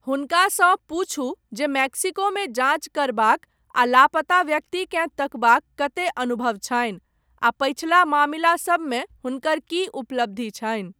हुनकासँ पूछू जे मेक्सिकोमे जाञ्च करबाक, आ लापता व्यक्तिकेँ तकबाक, कतेक अनुभव छनि, आ पछिला मामिला सबमे हुनकर की उपलब्धि छनि?